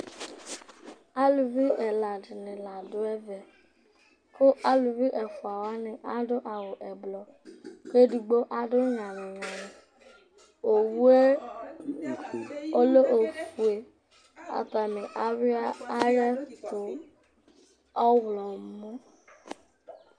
Aluvi ɛla dɩnɩ la dʋ ɛvɛ kʋ aluvi ɛfʋa wanɩ adʋ awʋ ɛblɔ kʋ edigbo adʋ nyalɩ-nyalɩ Owu yɛ lɛ ofue Atanɩ ayʋɩ ayɛtʋ ɔɣlɔmɔ